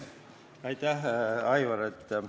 Aitäh, Aivar!